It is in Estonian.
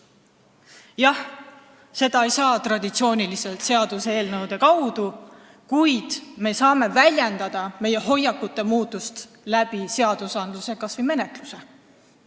Jah, seda ei saa teha traditsiooniliselt, seaduseelnõude kaudu, kuid me saame väljendada meie hoiakute muutust kas või seaduste menetluse abil.